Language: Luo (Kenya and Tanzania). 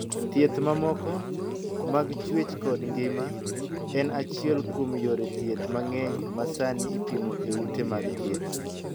Thieth mamoko, mag chuech kod ngima, en achiel kuom yore thieth mang'eny ma sani ipimo e ute mag thieth.